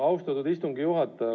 Austatud istungi juhataja!